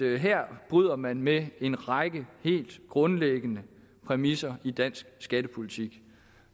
her bryder man med en række helt grundlæggende præmisser i dansk skattepolitik